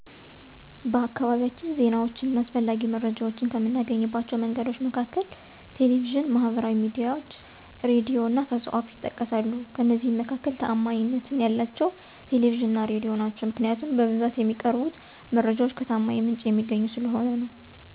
በአካባቢያችን ዜናዎችን እና አስፈላጊ መረጃዎችን ከምናገኝባቸው መንገዶች መካከል ቴሌቪዥን፣ ማህበራዊ ሚዲያዎች፣ ሬዲዮ እና ከሰው አፍ ይጠቀሳሉ፤ ከእነዚህ መካከል ታዓማኒነት ያላቸው ቴሌቪዥን እና ሬዲዮ ናቸው። ምክንያቱም በብዛት የሚቀርቡት መረጃዎች ከታማኝ ምንጭ የሚገኙ ስለሆኑ ነው።